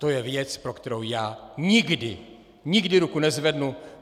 To je věc, pro kterou já nikdy, nikdy ruku nezvednu.